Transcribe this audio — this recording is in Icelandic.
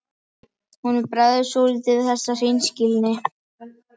Honum bregður svolítið við þessa hreinskilni.